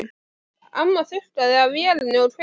Amma þurrkaði af vélinni og kveikti.